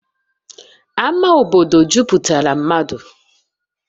Ama obodo jupụtara mmadụ